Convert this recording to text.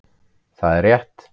Það var rétt.